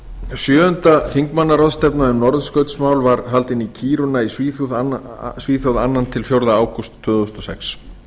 sjöunda þingmannaráðstefnan um norðurskautsmál var haldin í kiruna í svíþjóð annars til fjórða ágúst tvö þúsund og sex